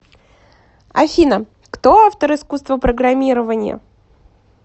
афина кто автор искусство программирования